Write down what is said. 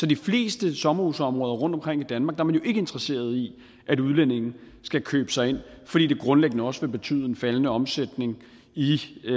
de fleste sommerhusområder rundtomkring i danmark jo ikke interesseret i at udlændinge skal købe sig ind fordi det grundlæggende også vil betyde en faldende omsætning i i